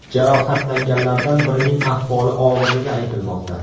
Jarohatlanganlardan birining ahvoli og‘irligi aytilmoqda.